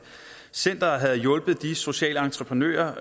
centeret har hjulpet de sociale entreprenører